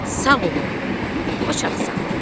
Sağ ol oğlum, qoçaqsan.